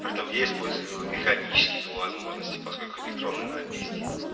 притом я использую механический по возможности поскольку электронная да пиздит